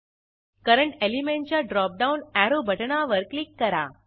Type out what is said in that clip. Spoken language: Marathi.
करंट एलिमेंटच्या ड्रॉप डाऊन अॅरो बटणावर क्लिक करा